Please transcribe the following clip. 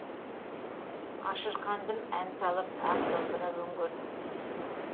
ашырқандым ән салып ақ домбыра өңгөрдім